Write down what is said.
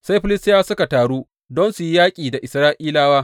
Sai Filistiyawa suka taru don su yi yaƙi da Isra’ilawa.